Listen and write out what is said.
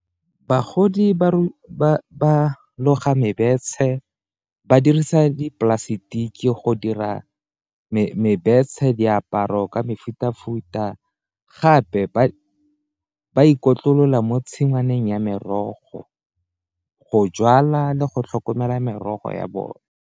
Bagodi loga , ba dirisa dipolasetiki go dira diaparo ka mefuta-futa gape ba itlotlela mo tshingwaneng ya merogo go jwala le go tlhokomela merogo ya bone.